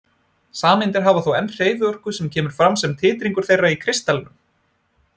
Sameindirnar hafa þó enn hreyfiorku sem kemur fram sem titringur þeirra í kristallinum.